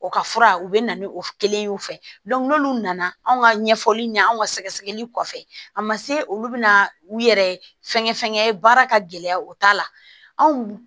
O ka fura u bɛ na ni o kelen ye u fɛ n'olu nana anw ka ɲɛfɔli ɲɛ anw ka sɛgɛsɛgɛli kɔfɛ a ma se olu bɛna u yɛrɛ fɛnkɛ fɛnkɛ baara ka gɛlɛya o t'a la anw